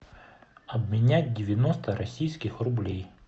обменять девяносто российских рублей